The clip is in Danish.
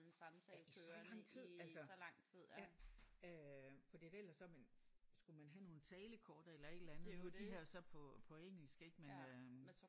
Ja i så lang tid altså ja øh fordi at ellers så man skulle man have nogle talekort eller et eller andet de her er så på på engelsk ik men øh